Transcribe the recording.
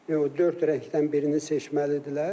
4 rəngdən birini seçməlidirlər.